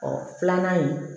filanan ye